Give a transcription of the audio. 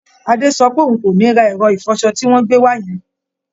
Adé sọ pé òun kò ní ra ẹ̀rọ ìfọṣọ tí wọ́n gbé wá yẹn